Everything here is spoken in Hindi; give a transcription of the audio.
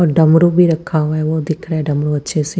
और डमरू भी रखा हुआ है वो दिख रहा है डमरू अच्छे से--